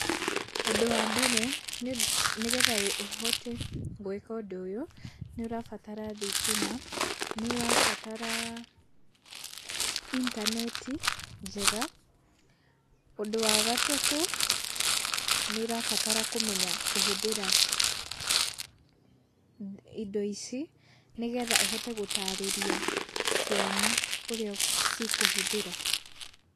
Ũndũ wa mbere nĩ getha ũhote gwĩka ũndũ, ũyũ nĩ ũrabatara thitima, nĩ ũrabatara intaneti njega, ũndũ wa gatatũ, nĩ ũrabatara kũmenya kũhũthĩra indo ici nĩ getha ũhote gũtarĩria ciana ũrĩa cikũhuthĩra.